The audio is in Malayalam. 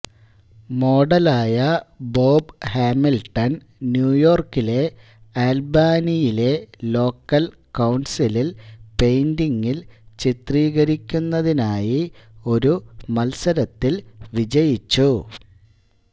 മോഡലായ ബോബ് ഹാമിൽട്ടൺ ന്യൂയോർക്കിലെ ആൽബാനിയിലെ ലോക്കൽ കൌൺസിലിൽ പെയിന്റിംഗിൽ ചിത്രീകരിക്കുന്നതിനായി ഒരു മത്സരത്തിൽ വിജയിച്ചു